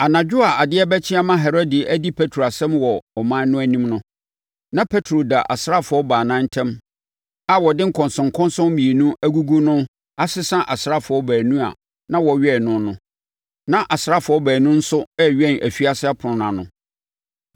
Anadwo a adeɛ rebɛkye ama Herode adi Petro asɛm wɔ ɔman no anim no, na Petro da asraafoɔ baanu ntam a wɔde nkɔnsɔnkɔnsɔn mmienu agugu no asesa asraafoɔ baanu a wɔwɛn no no. Na asraafoɔ baanu nso rewɛn afiase ɛpono no ano.